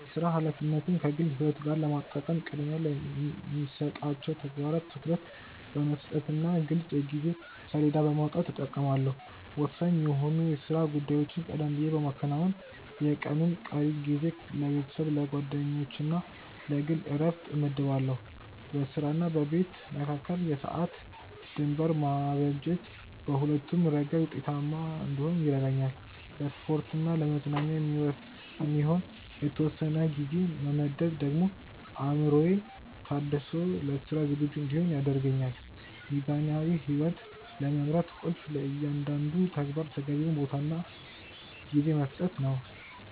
የሥራ ኃላፊነትን ከግል ሕይወት ጋር ለማጣጣም ቅድሚያ ለሚሰጣቸው ተግባራት ትኩረት በመስጠትና ግልጽ የጊዜ ሰሌዳ በማውጣት እጠቀማለሁ። ወሳኝ የሆኑ የሥራ ጉዳዮችን ቀደም ብዬ በማከናወን፣ የቀኑን ቀሪ ጊዜ ለቤተሰብ፣ ለጓደኞችና ለግል ዕረፍት እመድባለሁ። በሥራና በቤት መካከል የሰዓት ድንበር ማበጀት በሁለቱም ረገድ ውጤታማ እንድሆን ይረዳኛል። ለስፖርትና ለመዝናኛ የሚሆን የተወሰነ ጊዜ መመደቤ ደግሞ አእምሮዬ ታድሶ ለሥራ ዝግጁ እንድሆን ያደርገኛል። ሚዛናዊ ሕይወት ለመምራት ቁልፉ ለእያንዳንዱ ተግባር ተገቢውን ቦታና ጊዜ መስጠት ነው።